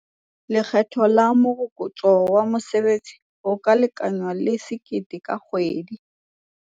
Lekgetho la Morokotso wa Mosebetsi o ka lekangwang le R1 000 ka kgwedi.